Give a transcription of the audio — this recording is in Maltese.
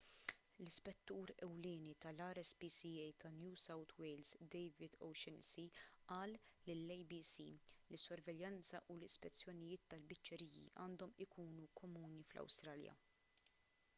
l-ispettur ewlieni tal-rspca ta' new south wales david o'shannessy qal lill-abc li s-sorveljanza u l-ispezzjonijiet tal-biċċeriji għandhom ikunu komuni fl-awstralja